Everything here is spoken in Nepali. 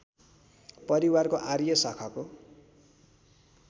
परिवारको आर्य शाखाको